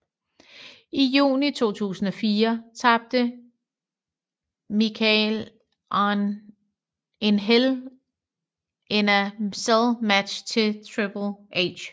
I juni 2004 tabte Michaels en Hell in a Cell match til Triple H